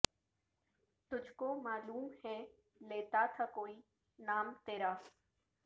تجھ کو معلوم ہے لیتا تھا کوئی نام تیرا